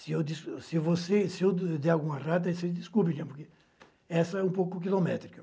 Se eu der alguma errada, você desculpe, porque essa é um pouco quilométrica.